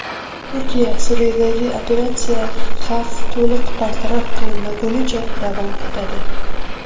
Turkiya: Suriyadagi operatsiya xavf to‘liq bartaraf qilinmagunicha davom etadi.